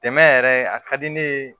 Dɛmɛ yɛrɛ a ka di ne ye